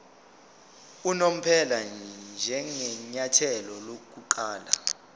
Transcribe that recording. unomphela njengenyathelo lokuqala